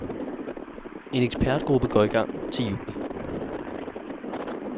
En ekspertgruppe går i gang til juni.